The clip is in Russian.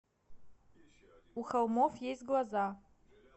у холмов есть глаза